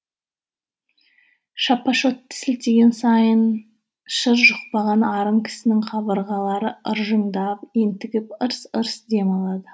шапашотты сілтеген сайын шыр жұқпаған арың кісінің қабырғалары ыржыңдап ентігіп ырс ырс дем алады